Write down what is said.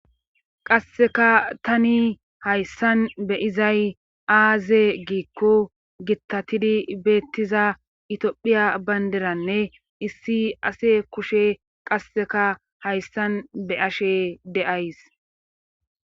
Passeka tani hayssan be izay aaze giikko gittatidi beettiza itiophiya banderanne issi ase kushe qasseka hayssan be ashe deays